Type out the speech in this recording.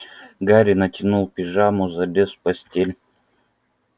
гарри натянул пижаму залез в постель